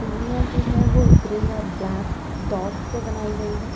सीढ़ियां जो है वो ग्रे और ब्लैक डॉट से बनाई गई है।